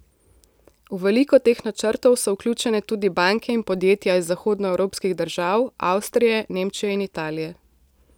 V veliko teh načrtov so vključene tudi banke in podjetja iz zahodnoevropskih držav, Avstrije, Nemčije in Italije.